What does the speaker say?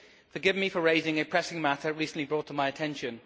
Forgive me for raising a pressing matter recently brought to my attention.